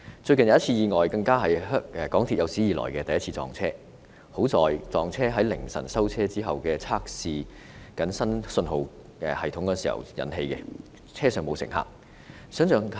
最近更發生了有史以來第一次港鐵撞車意外，幸好意外在凌晨收車後測試新信號系統時發生，車上沒有乘客。